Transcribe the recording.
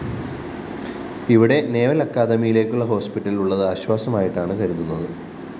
ഇവിടെ നവൽ അക്കാഡമിയിലുള്ള ഹോസ്പിറ്റൽ ഉള്ളത് ആശ്വാസമായിട്ടാണ് കരുതുന്നത്